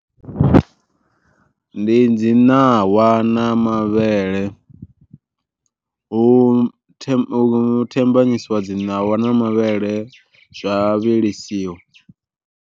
Ndi dzi ṋawa na mavhele hu thambanyisiwa dzi ṋawa na mavhele zwa vhilisiwa.